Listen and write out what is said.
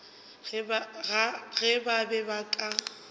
ge ba be ba ka